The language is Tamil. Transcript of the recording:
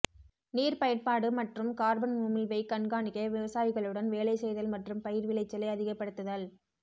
நீர் பயன்பாடு மற்றும் கார்பன் உமிழ்வை கண்காணிக்க விவசாயிகளுடன் வேலை செய்தல் மற்றும் பயிர் விளைச்சலை அதிகப்படுத்துதல்